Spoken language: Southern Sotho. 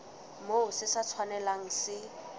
moo se sa tshwanelang se